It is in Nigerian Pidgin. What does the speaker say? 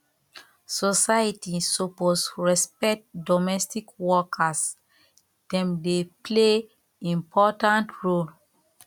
society suppose respect domestic workers dem dey play important role